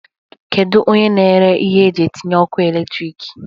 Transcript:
Kedu onye na-ere ihe eji etinye ọkụ elektrik?